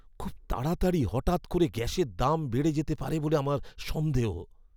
খুব তাড়াতাড়ি হঠাৎ করে গ্যাসের দাম বেড়ে যেতে পারে বলে আমার সন্দেহ।